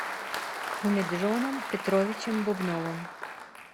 умеджоном петровичем бубновым